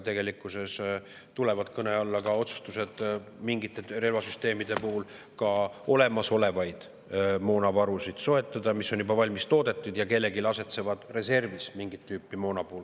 Tegelikkuses tulevad mingite relvasüsteemide puhul, mingit tüüpi moona puhul kõne alla ka otsustused soetada olemasolevaid moonavarusid, mis on juba toodetud ja asetsevad kellelgi reservis.